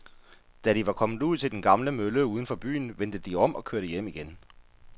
Da de var kommet ud til den gamle mølle uden for byen, vendte de om og kørte hjem igen.